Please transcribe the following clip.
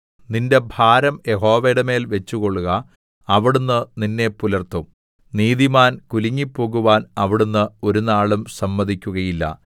നിന്റെ ഭാരം യഹോവയുടെമേൽ വച്ചുകൊള്ളുക അവിടുന്ന് നിന്നെ പുലർത്തും നീതിമാൻ കുലുങ്ങിപ്പോകുവാൻ അവിടുന്ന് ഒരുനാളും സമ്മതിക്കുകയില്ല